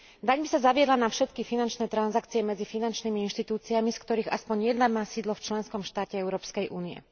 Daň by sa zaviedla na všetky finančné transakcie medzi finančnými inštitúciami, z ktorých aspoň jedna má sídlo v členskom štáte Európskej únie.